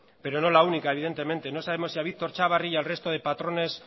pero no la única evidentemente no sabemos si a víctor chavarri y al resto de patrones